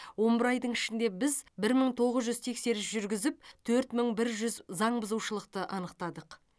он бір айдың ішінде біз бір мың тоғыз жүз тексеріс жүргізіп төрт мың бір жүз заң бұзушылықты анықтадық